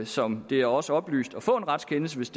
som det er os oplyst at få en retskendelse hvis